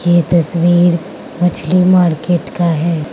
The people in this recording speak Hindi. ये तस्वीर मछली मार्केट का है।